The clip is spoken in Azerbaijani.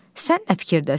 Sən nə fikirdəsən?